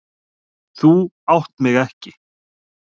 Þú átt mig ekki.